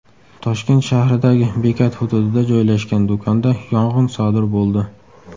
Toshkent shahridagi bekat hududida joylashgan do‘konda yong‘in sodir bo‘ldi.